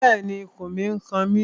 Bẹ́ẹ̀ni, ikùn mi n kan mi